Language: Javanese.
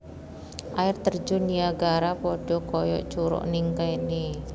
Air Terjun Niagara podo koyo curug ning kene